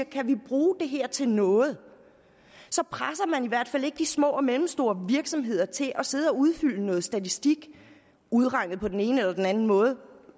kan bruge det her til noget presser man i hvert fald ikke de små og mellemstore virksomheder til at sidde og udfylde noget statistik udregnet på den ene eller på den anden måde